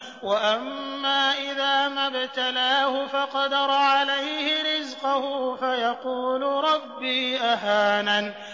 وَأَمَّا إِذَا مَا ابْتَلَاهُ فَقَدَرَ عَلَيْهِ رِزْقَهُ فَيَقُولُ رَبِّي أَهَانَنِ